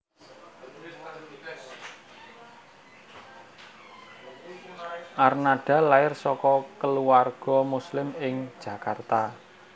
Arnada lair saka keluarga Muslim ing Jakarta